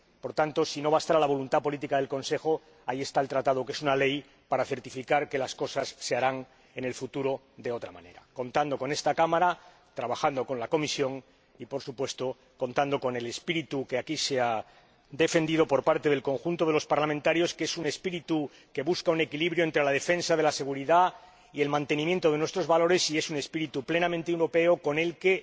Por tanto, si no bastara la voluntad política del Consejo, ahí está el Tratado, que es una ley, para certificar que las cosas se harán en el futuro de otra manera, contado con esta Cámara, trabajando con la Comisión y, por supuesto, contando con el espíritu que aquí ha defendido el conjunto de los diputados, que es un espíritu que busca un equilibrio entre la defensa de la seguridad y el mantenimiento de nuestros valores y es un espíritu plenamente europeo con el que